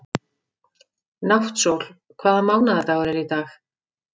Náttsól, hvaða mánaðardagur er í dag?